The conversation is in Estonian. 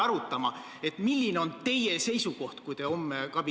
Minu küsimus ongi see, et milline on olnud teie roll alushariduse riikliku õppekava loomise protsessis.